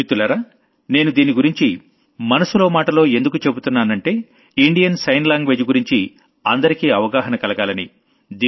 మిత్రులారా నేను దీని గురించి మనసులో మాటలో ఎందుకు చెబుతున్నానంటే ఇండియెన్ సైన్ లాంగ్వేజ్ గురించి అందరికీ అవగాహన కలగాలని